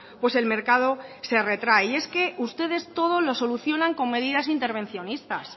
pues el mercado se retrae y es que ustedes todo lo solucionan con medidas intervencionistas